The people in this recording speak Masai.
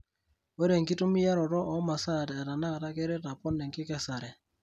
Ore enkitumiaroto oo masaa etenakata keret apon enkikesare.